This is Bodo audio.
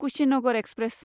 कुशिनगर एक्सप्रेस